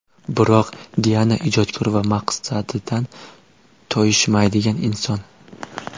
Biroq Diana ijodkor va maqsadidan toyishmaydigan inson.